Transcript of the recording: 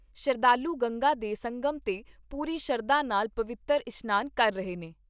ਸ਼ਰਧਾਲੂ ਗੰਗਾ ਦੇ ਸੰਗਮ 'ਤੇ ਪੂਰੀ ਸ਼ਰਧਾ ਨਾਲ ਪਵਿੱਤਰ ਇਸਨਾਨ ਕਰ ਰਹੇ ਨੇ।